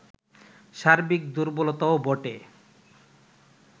সার্বিক দুর্বলতাও বটে